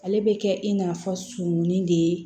Ale bɛ kɛ i n'a fɔ surunnin de